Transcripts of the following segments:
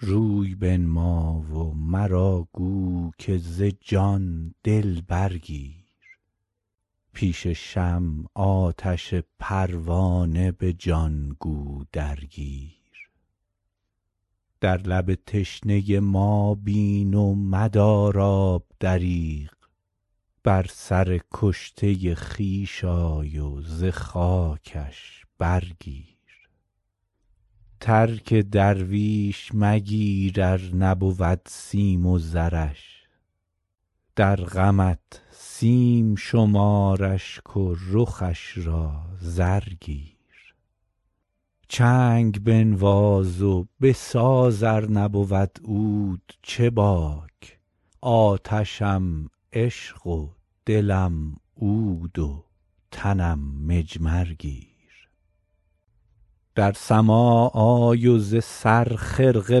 روی بنما و مرا گو که ز جان دل برگیر پیش شمع آتش پروانه به جان گو درگیر در لب تشنه ما بین و مدار آب دریغ بر سر کشته خویش آی و ز خاکش برگیر ترک درویش مگیر ار نبود سیم و زرش در غمت سیم شمار اشک و رخش را زر گیر چنگ بنواز و بساز ار نبود عود چه باک آتشم عشق و دلم عود و تنم مجمر گیر در سماع آی و ز سر خرقه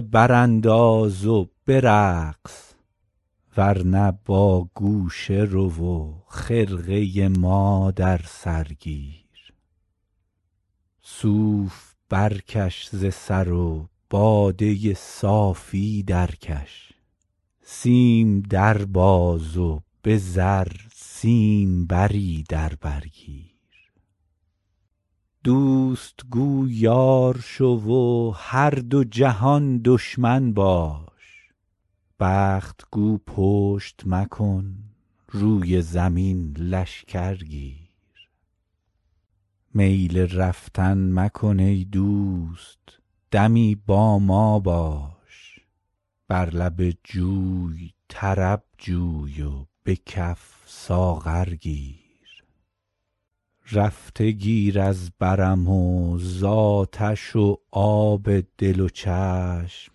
برانداز و برقص ور نه با گوشه رو و خرقه ما در سر گیر صوف برکش ز سر و باده صافی درکش سیم در باز و به زر سیمبری در بر گیر دوست گو یار شو و هر دو جهان دشمن باش بخت گو پشت مکن روی زمین لشکر گیر میل رفتن مکن ای دوست دمی با ما باش بر لب جوی طرب جوی و به کف ساغر گیر رفته گیر از برم و زآتش و آب دل و چشم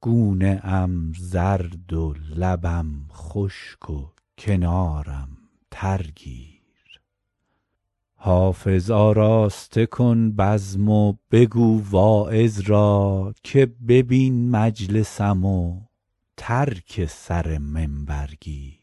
گونه ام زرد و لبم خشک و کنارم تر گیر حافظ آراسته کن بزم و بگو واعظ را که ببین مجلسم و ترک سر منبر گیر